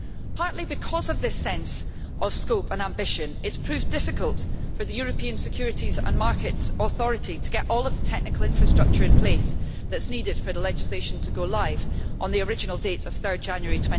Partly because of the sense of scope and ambition, it has proved difficult for the European Securities and Markets Authority to set up all of the technical infrastructure needed for the legislation to go live on the original date of 3 January